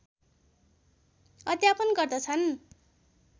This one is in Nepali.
अध्यापन गर्दछन्